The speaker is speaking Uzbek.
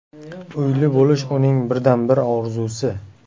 Uyli bo‘lish uning birdan-bir orzusi.